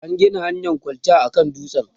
an Gina hanyan kwalta a kan dutsen